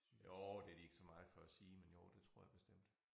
Jo det de ikke så meget for at sige men jo det tror jeg bestemt